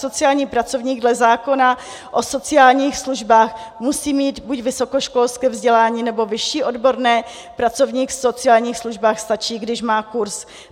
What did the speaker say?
Sociální pracovník dle zákona o sociálních službách musí mít buď vysokoškolské vzdělání, nebo vyšší odborné, pracovník v sociálních službách - stačí, když má kurz.